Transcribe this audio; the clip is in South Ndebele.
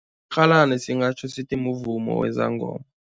Rhalani singatjho bona sithi muvumo wezangoma.